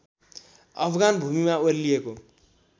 अफगान भूमिमा ओर्लिएको